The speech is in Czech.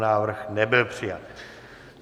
Návrh nebyl přijat.